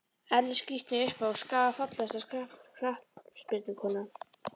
Elli skrítni uppá skaga Fallegasta knattspyrnukonan?